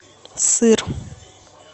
сыр